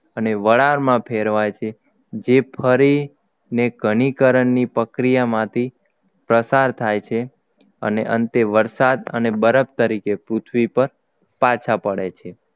અને વરાળમાં ફેરવાય છે જે ફરી ને ઘનીકરણની પ્રક્રિયામાંથી પસાર થાય છે અને અંતે વરસાદ અને બરફ તરીકે પૃથ્વી પર પાછા પડે છે